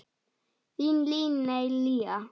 Þín Líney Lea.